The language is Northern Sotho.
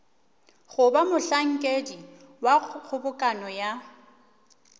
goba mohlankedi wa kgobokano ya